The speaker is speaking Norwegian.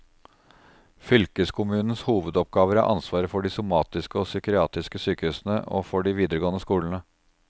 Fylkeskommunens hovedoppgaver er ansvaret for de somatiske og psykiatriske sykehusene og for de videregående skolene.